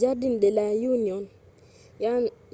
jardin de la union.